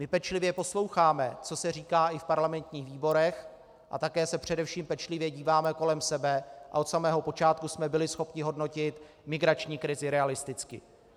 My pečlivě posloucháme, co se říká i v parlamentních výborech, a také se především pečlivě díváme kolem sebe a od samého počátku jsme byli schopni hodnotit migrační krizi realisticky.